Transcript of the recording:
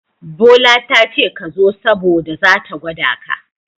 Bola tace kazo saboda zata gwada ka.